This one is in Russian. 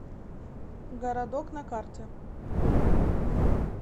городок на карте